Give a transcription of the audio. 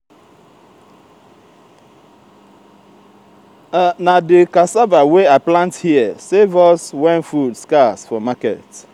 na di cassava wey i plant here save us wen food scarce for market.